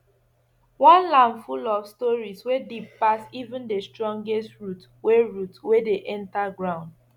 our land full of stories wey deep pass even the strongest root wey root wey dey enter ground